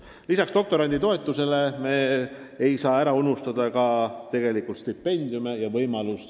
Ning lisaks doktoranditoetusele me ei tohi ära unustada ka stipendiume.